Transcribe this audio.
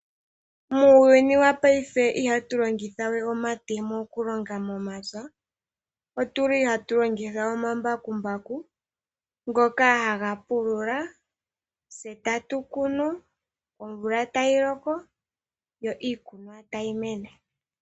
Muuyuni wopaife ihatu longitha we omatemo mokulonga momapya, otu li hatu longitha omambakumbaku ngoka haga pulula, tse tatu kunu, omvula tayi loko, yo iikunwa tayi mene.